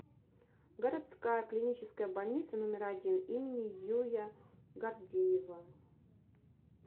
городская клиническая больница номер один им юя гордеева